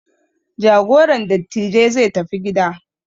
Jagoran dattijai zai tafi gida.